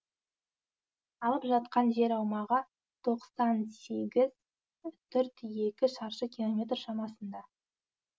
алып жатқан жер аумағы тоқсан сегіз үтір екі шаршы километр шамасында